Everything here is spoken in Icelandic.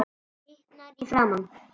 Henni hitnar í framan.